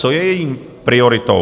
Co je její prioritou?